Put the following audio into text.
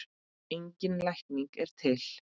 Engin lækning er til.